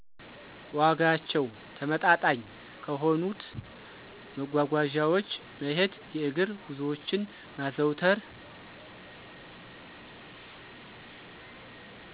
ዋጋቸው ተመጣጣኝ ከሆኑት መጓጓዣወች መሄድ የእግር ጉዞወችን ማዘውተር